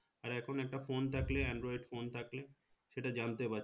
আর এখন একটা phone থাকলে android phone থাকলে সেটা জানতে পারছি